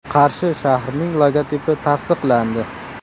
Qarshi shahrining logotipi tasdiqlandi.